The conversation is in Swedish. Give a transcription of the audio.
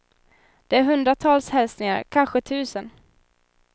Det är hundratals hälsningar, kanske tusen.